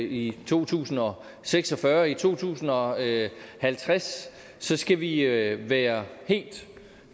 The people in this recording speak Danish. i to tusind og seks og fyrre og i to tusind og halvtreds skal vi være helt